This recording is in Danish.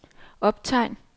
optegn